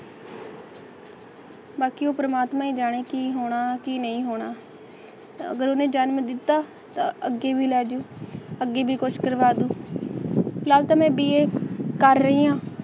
ਬਾਕੀ ਓਹ ਪਰਮਾਤਮਾ ਹੀ ਜਾਣੇ ਕੀ ਹੋਣਾ ਕਿ ਨਹੀਂ ਹੋਣਾ ਅਗਲੇ ਜਨਮ ਦਿੱਤਾ ਅੱਗੇ ਮਿਲਾਇ ਜੀਉ ਅੱਗੇ ਵੀ ਕੁਛ ਕਰਵਾ ਦੂ ਫਿਲ ਹਾਲ ਤਾ ਮੈ ਬੀਏ ਕਰ ਰਹੀ ਆ